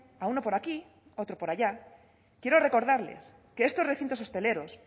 a uno por aquí a otro por allá quiero recordarles que estos recintos hosteleros